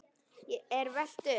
er velt upp.